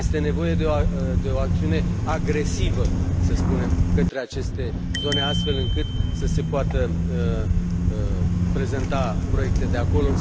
Este nevoie de o acțiune agresivă, să spunem, către aceste zone, astfel încât să se poată prezenta proiecte de acolo.